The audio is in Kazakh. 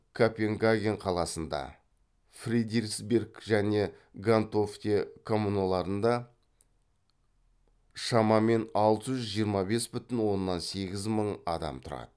копенгаген қаласында фредериксберг және гентофте коммуналарында шамамен алты жүз жиырма бес бүтін оннан сегіз мың адам тұрады